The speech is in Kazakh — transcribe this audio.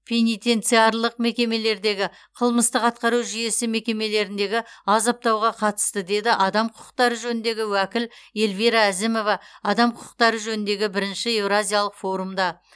пенитенциарлық мекемелердегі қылмыстық атқару жүйесі мекемелеріндегі азаптауға қатысты деді адам құқықтары жөніндегі уәкіл эльвира әзімова адам құқықтары жөніндегі бірінші еуразиялық форумда